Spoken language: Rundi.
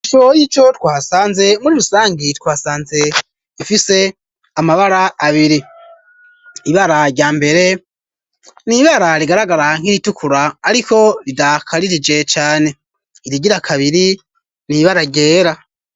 iswo y'ico twasanze muri rusangi twasanze ifise amabara abiri ibara rya mbere nibara rigaragara nk'iritukura ariko ridakaririje cyane irigira kabiri nibaragera